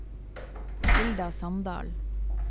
Hilda Sandal